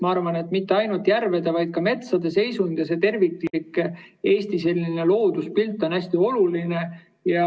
Ma arvan, et mitte ainult järvede, vaid ka metsade seisund ja terviklik Eesti looduspilt on hästi oluline.